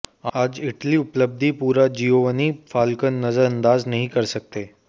आज इटली उपलब्धि पूरा जिओवान्नि फ़ाल्कोन नजरअंदाज नहीं कर सकते